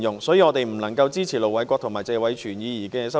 所以，我們不能支持盧偉國議員和謝偉銓議員的修正案。